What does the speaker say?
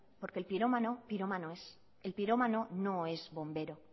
porque el pirómano pirómano es el pirómano no es bombero